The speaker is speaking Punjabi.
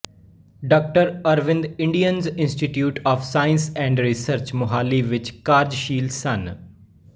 ਡਾ Arvind Indian institute of science and research Mohali ਵਿਚ ਕਾਰਜਸ਼ੀਲ ਸਨ